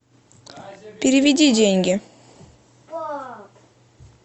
переведи деньги